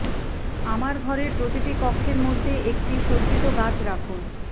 আমার ঘর এর প্রতিটি কক্ষের মধ্যে একটি সজ্জিত গাছ রাখুন